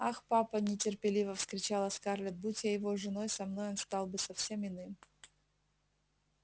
ах папа нетерпеливо вскричала скарлетт будь я его женой со мной он стал бы совсем иным